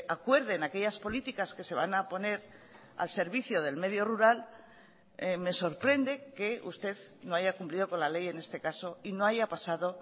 acuerden aquellas políticas que se van a poner al servicio del medio rural me sorprende que usted no haya cumplido con la ley en este caso y no haya pasado